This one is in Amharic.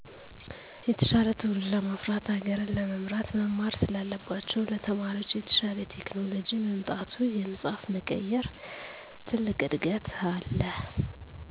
የተሻለ ትዉልድ ለማፍራት ሀገርን ለመምራት መማር ስላለባቸዉ ለተማሪዎች የተሻለ ቴክኖሎጅ ምጣቱ የመፀሀፍ መቀየር ትልቅ እድገት አለ